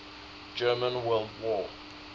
german world war